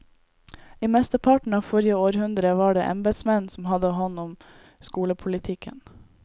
I mesteparten av forrige århundre var det embetsmenn som hadde hånd om skolepolitikken.